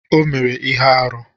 O mere ihe arụ